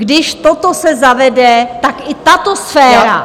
Když toto se zavede, tak i tato sféra...